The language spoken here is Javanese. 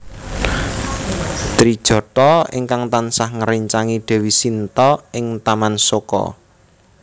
Trijatha ingkang tansah ngréncangi Dewi Shinta ing Taman Soka